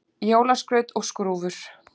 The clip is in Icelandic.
Jólaskraut og skrúfur